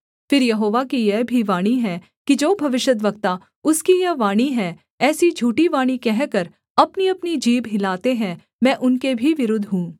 फिर यहोवा की यह भी वाणी है कि जो भविष्यद्वक्ता उसकी यह वाणी है ऐसी झूठी वाणी कहकर अपनीअपनी जीभ हिलाते हैं मैं उनके भी विरुद्ध हूँ